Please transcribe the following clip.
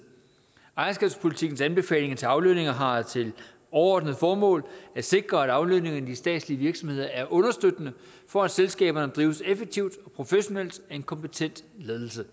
ejerskabspolitikkens anbefalinger til aflønninger har til overordnet formål at sikre at aflønninger i de statslige virksomheder er understøttende for at selskaberne drives effektivt og professionelt af en kompetent ledelse